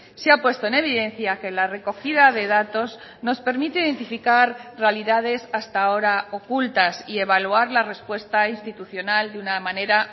se ha puesto en evidencia que la recogida de datos nos permite identificar realidades hasta ahora ocultas y evaluar la respuesta institucional de una manera